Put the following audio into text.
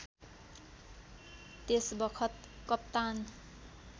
त्यसबखत कप्तान